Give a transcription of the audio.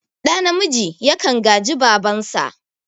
Ɗa namiji yakan gaji babansa